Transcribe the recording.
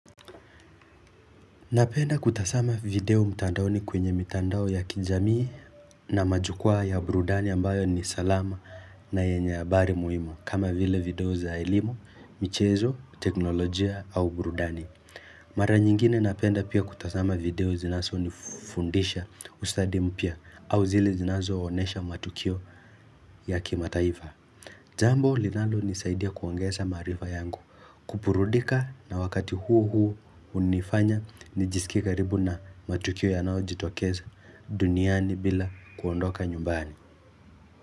Napenda kutazama video mtandaoni kwenye mtandao ya kijamii na majukwaa ya burudani ambayo ni salama na yenye habari muhimu kama vile video za elimu, michezo, teknolojia au burudani. Mara nyingine napenda pia kutazama video zinazonifundisha ustadi mpya au zile zinazoonesha matukio ya kimataifa. Jambo linalonisaidia kuongeza maarifa yangu kuburudika na wakati huo huo unifanya nijisikie karibu na matukio yanaojitokeza duniani bila kuondoka nyumbani.